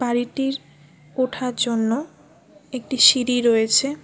বাড়িটির ওঠার জন্য একটি সিঁড়ি রয়েছে।